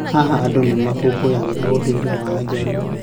Haha, andũ nĩ makũngũagĩra ũndũire wa Ajaruo.